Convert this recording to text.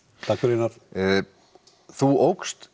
takk fyrir það þú